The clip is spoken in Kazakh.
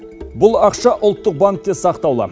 бұл ақша ұлттық банкте сақтаулы